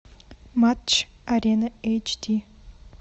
матч арена эйч ди